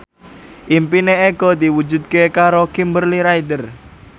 impine Eko diwujudke karo Kimberly Ryder